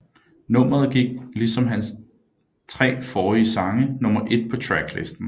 Nummeret gik ligesom ligesom hans tre forrige sange nummer et på Tracklisten